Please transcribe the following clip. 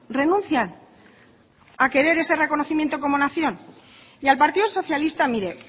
renuncian a querer ese reconocimiento como nación y al partido socialista mire